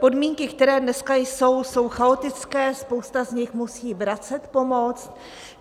Podmínky, které dneska jsou, jsou chaotické, spousta z nich musí vracet pomoc.